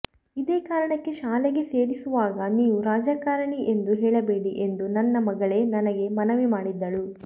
ಇದೇ ಕಾರಣಕ್ಕೆ ಶಾಲೆಗೆ ಸೇರಿಸುವಾಗ ನೀವು ರಾಜಕಾರಣಿ ಎಂದು ಹೇಳಬೇಡಿ ಎಂದು ನನ್ನ ಮಗಳೇ ನನಗೆ ಮನವಿ ಮಾಡಿದ್ದಳು